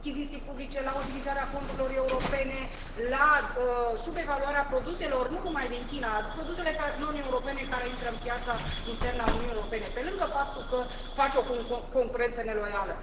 La achiziții publice, la utilizarea fondurilor europene, la subevaluarea produselor, nu numai din China, a produselor non europene care intră pe piața internă a Uniunii Europene, pe lângă faptul că fac o concurență neloială.